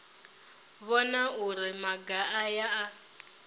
vhona uri maga aya a